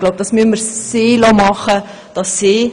Ich glaube, das müssen wir ihr überlassen.